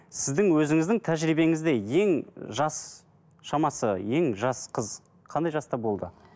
сіздің өзіңіздің тәжірибеңізде ең жас шамасы ең жас қыз қандай жаста болды